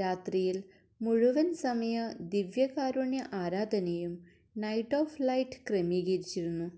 രാത്രിയിൽ മുഴുവൻ സമയ ദിവ്യകാരുണ്യ ആരാധനയും നൈറ്റ് ഓഫ് ലൈറ്റ് ക്രമീകരിച്ചിരുന്നു്